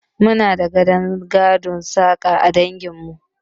Muna da gadon sana'ar saƙa a dangin mu